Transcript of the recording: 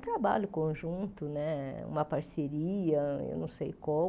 trabalho conjunto né, uma parceria, eu não sei como.